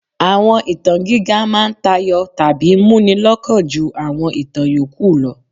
Àwọn ìtàn gíga máa ń tayọ tàbí múni lọ́kàn ju àwọn ìtàn yòókù lọ.